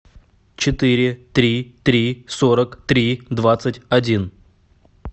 четыре три три сорок три двадцать один